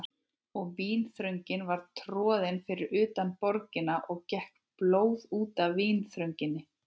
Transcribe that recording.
Og vínþröngin var troðin fyrir utan borgina og gekk blóð út af vínþrönginni.